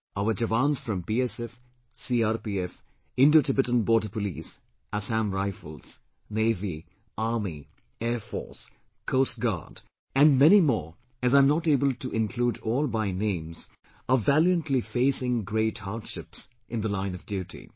Our Jawans from BSF, CRPF, Indo Tibetan Border Police, Assam Rifles, Navy, Army, Air Force, Coast Guard and many more as I am not able to include all by names are valiantly facing great hardships in the line of duty